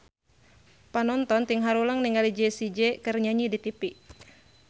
Panonton ting haruleng ningali Jessie J keur nyanyi di tipi